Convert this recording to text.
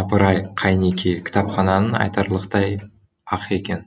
апыр ай қайнекей кітапханаң айтарлықтай ақ екен